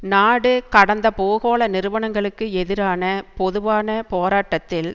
நாடு கடந்த பூகோள நிறுவனங்களுக்கு எதிரான பொதுவான போராட்டத்தில்